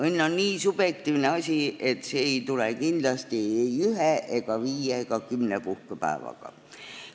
Õnn on nii subjektiivne asi, et see ei tule kindlasti ei ühe, viie ega kümne puhkepäevaga.